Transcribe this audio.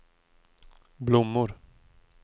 blommor